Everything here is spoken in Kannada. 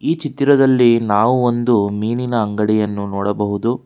ಈ ಚಿತ್ರದಲ್ಲಿ ನಾವು ಒಂದು ಮೀನಿನ ಅಂಗಡಿಯನ್ನು ನೋಡಬಹುದು.